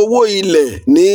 owó ilẹ̀ ní